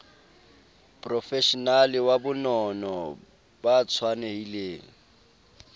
profeshenale wa bonono ba tshwanelhileng